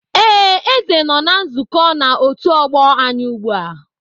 Ee, Eze nọ na nzukọ na otu ọgbọ anyị ugbu a